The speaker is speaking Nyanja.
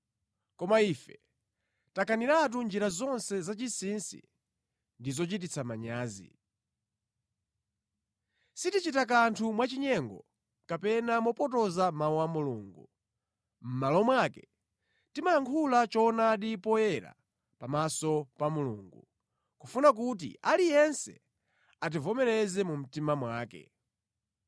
Koma ife takaniratu njira zonse zachinsinsi ndi zochititsa manyazi. Sitichita kanthu mwachinyengo kapena mopotoza Mawu a Mulungu. Mʼmalo mwake, timayankhula choonadi poyera pamaso pa Mulungu, kufuna kuti aliyense ativomereze mu mtima mwake.